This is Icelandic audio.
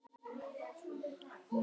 En nú skyldi hefnt.